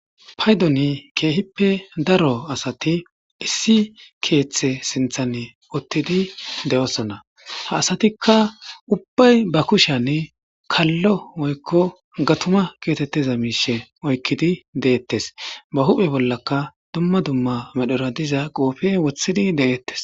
paydoni keehippe daro asati issi keeththe sinthan uttidi de7osonna ha asatikka ubbay ba kushan kallo oykko gatuma kiyotetteza miishe oykkidi deettes ba huphe bollaka dumma dumma medhora diza qoofe wothidi de7ettes